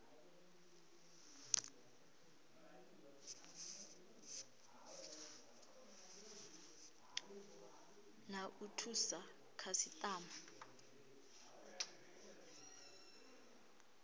na wa u thusa khasitama